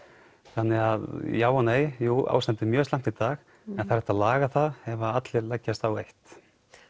þannig að já og nei jú ástandið er mjög slæmt í dag en það er hægt að laga það ef allir leggjast á eitt